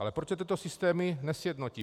Ale proč se tyto systémy nesjednotí?